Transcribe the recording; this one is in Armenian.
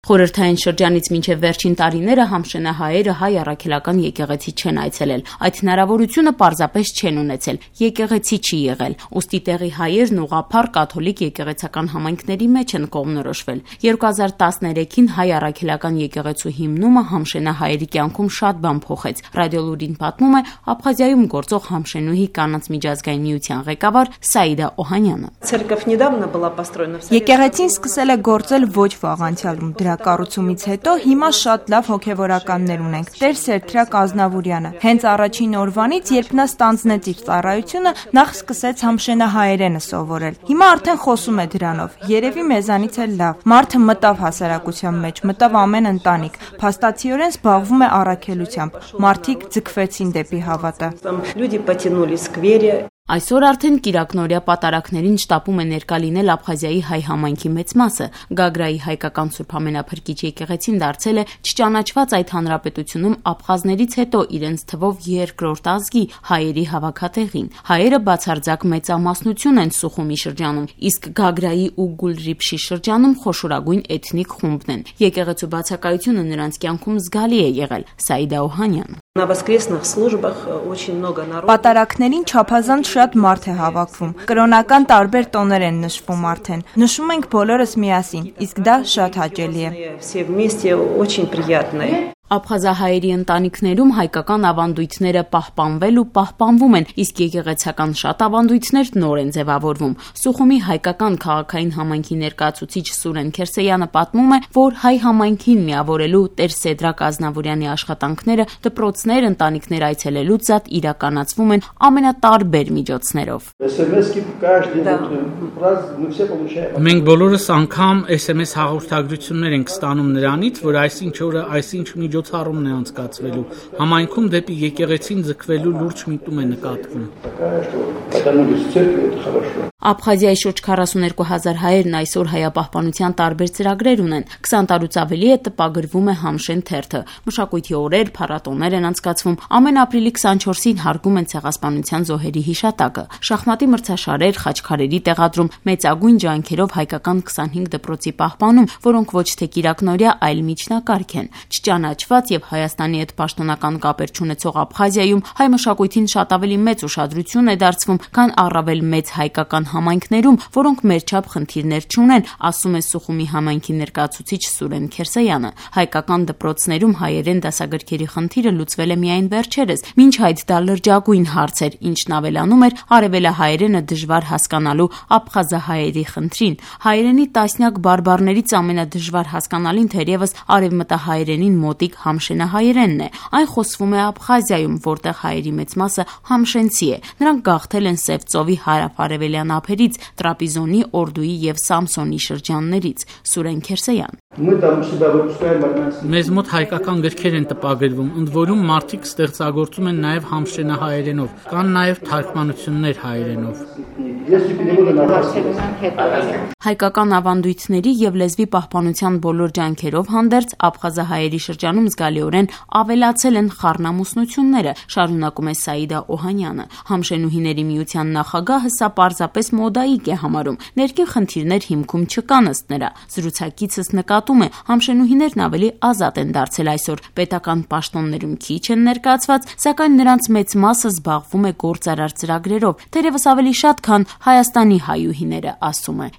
Խորհրդային շրջանից մինչեւ վերջին տարիները համշենահայերը հայ առաքելական եկեղեցի չեն այցելել: Այդ հնարավորությունը պարզապես չեն ունեցել՝ եկեղեցի չի եղել: Ուստի տեղի հայերն ուղղափառ, կաթոլիկ եկեղեցական համայնքների մեջ են կողմնորոշվել: 2013-ին հայ առաքելական եկեղեցու հիմնումը համշենահայերի կյանքում շատ բան փոխեց՝ «Ռադիոլուր»-ին պատմում է Աբխազիայում գործող «Համշենուհի» կանանց միջազգային միության ղեկավար Սաիդա Օհանյանը: «Եկեղեցին սկսել է գործել ոչ վաղ անցյալում, դրա կառուցումից հետո հիմա շատ լավ հոգեւորական ունենք՝ Տեր-Սեդրակ Ազնավուրյանը: Հենց առաջին օրվանից, երբ նա ստանձնեց իր ծառայությունը, նախ սկսեց նախ համշենահայերենը սովորել: Հիմա արդեն խոսում է դրանով՝ երեւի մեզանից էլ լավ: Մարդը մտավ հասարակության մեջ, մտավ ամեն ընտանիք, փաստացիորեն զբաղվում է առաքելությամբ: Մարդիկ ձգվեցին դեպի հավատը»: Այսօր արդեն կիրակնօրյա պատարագներին շտապում է ներկա լինել Աբխազիայի հայ համայնքի մեծ մասը: Գագրայի հայկական Սբ Ամենափրկիչ եկեղեցին դարձել է չճանաչված այդ հանրապետությունում աբխազներից հետո իրենց թվով երկրորդ ազգի՝ հայերի հավաքատեղին: Հայերը բացարձակ մեծամասնություն են Սուխումի շրջանում, իսկ Գագրայի ու Գուլրիփշի շրջանում թվով խոշորագույն էթնիկ խումբն են: Եկեղեցու բացակայությունը նրանց կյանքում զգալի է եղել: Սաիդա Օհանյան: «Պատարագներին չափազանց շատ մարդ է հավաքվում: Կրոնական տարբեր տոներ են նշվում արդեն: Նշում ենք՝ բոլորս միասին, իսկ դա շատ հաճելի է»: Աբխազահայերի ընտանիքներում հայկական ավանդույթները պահպանվել ու պահպանվում են, իսկ եկեղեցական շատ ավանդույթներ նոր են ձեւավորվում: Սուխումի հայկական քաղաքային համայնքի ներկայացուցիչ Սուրեն Քերսեյանը նշում է, որ հայ համայնքին միավորելու Տեր-Սեդրակ Ազնավուրյանի աշխատանքները դպրոցներ, ընտանիքներ այցելելուց զատ իրականացվում են ամենատարբեր միջոցներով: «Մենք բոլորս անգամ sms հաղորդագրություններ ենք ստանում նրանից, որ այսինչ օրը այսինչ միջոցառումն է անցկացվելու: Համայնքում դեպի եկեղեցին ձգվելու լուրջ միտում է նկատվում»: Աբխազիայի շուրջ 42 հազար հայերն այսօր հայապահպանության տարբեր ծրագրեր ունեն: 20 տարուց ավելի է՝ տպագրվում է «Համշեն» թերթը: Մշակույթի օրեր, փառատոներ են անցկացվում, ամեն ապրիլի 24-ի հարգում են Ցեղասպանության զոհերի հիշատակը: Շախմատի մրցաշարեր, խաչքարերի տեղադրում, մեծագույն ջանքերով հայկական 25 դպրոցի պահպանում, որոնք ոչ թե կիրակնօրյա, այլ միջնակարգ են: Չճանաչված եւ Հայաստանի հետ պաշտոնական կապեր չունեցող Աբխազիայում հայ մշակույթին շատ ավելի մեծ ուշադրություն է դարձվում, քան առավել մեծ հայկական համայնքներում, որոնք մեր չափ խնդիրներ չունեն, ասում է Սուխումի համայնքի ներկայացուցիչ Սուրեն Քերսեյանը: Հայկական դպրոցներում հայերեն դասագրքերի խնդիրը լուծվել է միայն վերջերս, մինչ այդ դա լրջագույն խնդիր էր, ինչն ավելանում էր արեւելահայերենը դժվար հասկանալու աբխազահայերի խնդրին: Հայերենի տասնյակ բարբառներից ամենադժվար հասկանալին թերեւս արեւմտահայերենին մոտիկ համշենահայերենն է: Այն խոսվում է Աբխազիայում, որտեղ հայերի մեծ մասը համշենցի է: Նրանք գաղթել են Սև ծովի հարավարևելյան ափերից՝ Տրապիզոնի, Օրդուի և Սամսոնի շրջաններից: Սուրեն Քերսեյան: «Մեզ մոտ հայկական գրքեր են տպագրվում, ընդ որում՝ մարդիկ ստեղծագործում են նաեւ համշենահայերենով: Կան նաեւ թարգմանություններ հայերենով»: Հայկական ավանդույթների եւ լեզվի պահպանության բոլոր ջանքերով հանդերձ՝ աբխազահայերի շրջանում զգալիորեն ավելացել են խառնամուսնությունները՝ շարունակում է Սաիդա Օհանյանը: Համշենուհիների միության նախագահը սա պարզապես մոդայիկ է համարում, ներքին խնդիրներ հիմքում չկան՝ ըստ նրա: Զրուցակիցս նկատում է՝ համշենուհիներն ավելի ազատ են դարձել, պետական պաշտոններում քիչ են ներկայացված, սակայն նրանց մեծ մասը զբաղվում է գործարար ծրագրերով, ավելի շատ, քան Հայաստանի հայուհիները՝ ասում է: